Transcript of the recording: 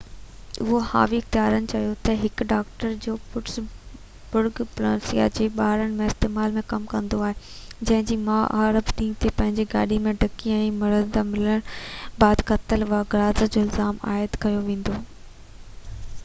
اوهاوي اختيارين چيو ته هڪ ڊاڪٽر جيڪو پٽس برگ پنسلوانيا جي ٻارن جي اسپتال ۾ ڪم ڪندو هو جنهن جي ماءُ اربع ڏينهن تي پنهنجي گاڏي جي ڊڪي ۾ مرده ملڻ بعد قتل و غارت جو الزام عائد ڪيو ويندوئ